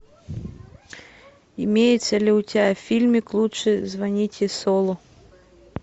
имеется ли у тебя фильмик лучше звоните солу